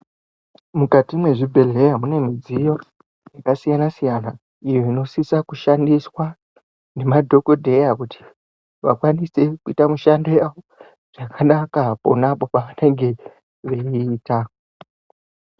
Mukati mwezvibhehleya mune zvidziyo zvakasiyana siyana izvo zvinosise kushandiswa nemadhokodheya kuti vakwanise kuita mushando zvakanaka ponapo pavanenge veyiita.